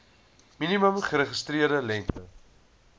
minimum geregistreerde lengte